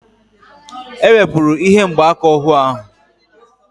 E wepụrụ ihe mgbaaka ohu ahụ